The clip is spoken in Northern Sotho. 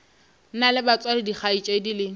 na le batswadi dikgaetšedi le